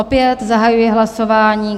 Opět zahajuji hlasování.